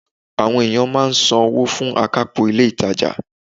Àwon ènìyàn máa n san wó fún akápò ilé ìtajà